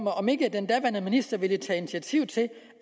den daværende minister ville tage initiativ til